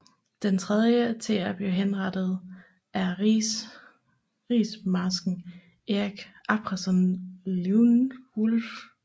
Den tredje til at blive henrettet er rigsmarsken Erik Abrahamsson Leijonhufvud